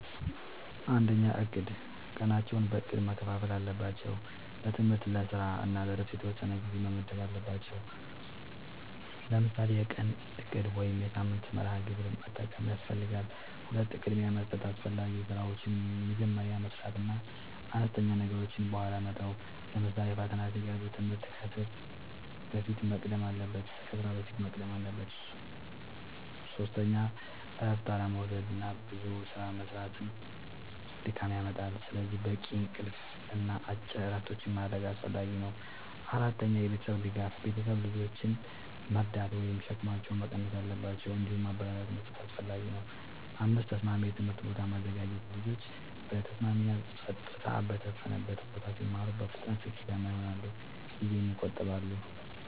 ፩. እቅድ፦ ቀናቸውን በእቅድ መከፋፈል አለባቸው። ለትምህርት፣ ለስራ እና ለእረፍት የተወሰነ ጊዜ መመደብ አለባቸዉ። ለምሳሌ የቀን እቅድ ወይም የሳምንት መርሃ ግብር መጠቀም ያስፈልጋል። ፪. ቅድሚያ መስጠት፦ አስፈላጊ ስራዎችን መጀመሪያ መስራት እና አነስተኛ ነገሮችን በኋላ መተው። ለምሳሌ ፈተና ሲቀርብ ትምህርት ከስራ በፊት መቅደም አለበት። ፫. እረፍት አለመዉሰድና ብዙ ስራ መስራት ድካም ያመጣል። ስለዚህ በቂ እንቅልፍ እና አጭር እረፍቶች ማድረግ አስፈላጊ ነው። ፬. የቤተሰብ ድጋፍ፦ ቤተሰብ ልጆችን መርዳት ወይም ሸክማቸውን መቀነስ አለባቸው። እንዲሁም ማበረታቻ መስጠት አስፈላጊ ነው። ፭. ተስማሚ የትምህርት ቦታ ማዘጋጀት፦ ልጆች በተስማሚ እና ጸጥታ በሰፈነበት ቦታ ሲማሩ በፍጥነት ስኬታማ ይሆናሉ ጊዜም ይቆጥባሉ።